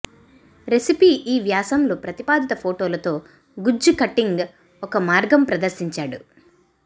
recipe ఈ వ్యాసం లో ప్రతిపాదిత ఫోటోలతో గుజ్జు కటింగ్ ఒక మార్గం ప్రదర్శించాడు